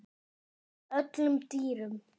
öllum dýrum